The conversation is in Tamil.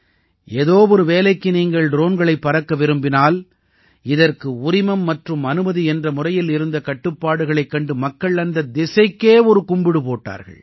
ஏதோ ஒரு வேலைக்கு நீங்கள் ட்ரோன்களைப் பறக்க விரும்பினால் இதற்கு உரிமம் மற்றும் அனுமதி என்ற முறையில் இருந்த கட்டுப்பாடுகளைக் கண்டு மக்கள் அந்தத் திசைக்கே ஒரு கும்பிடு போட்டார்கள்